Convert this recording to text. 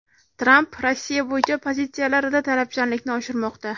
Tramp Rossiya bo‘yicha pozitsiyalarida talabchanlikni oshirmoqda .